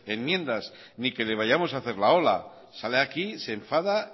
enmiendas ni que le vayamos a hacer la ola sale aquí se enfada